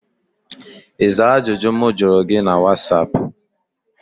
Ị zaa ajụjụ m jụrụ gị na whatsaap?